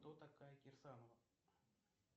кто такая кирсанова